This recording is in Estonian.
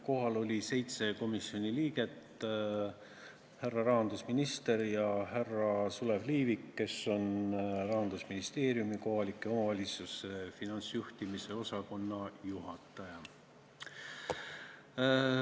Kohal oli 7 komisjoni liiget, härra rahandusminister ja härra Sulev Liivik, kes on Rahandusministeeriumi kohalike omavalitsuste finantsjuhtimise osakonna juhataja.